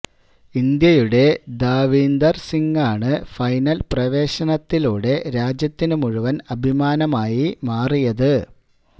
ഇന്ത്യയുടെ ദാവീന്ദര് സിങാണ് ഫൈനല് പ്രവേശനത്തിലൂടെ രാജ്യത്തിന്റെ മുഴുവന് അഭിമാനമായി മാറിയത്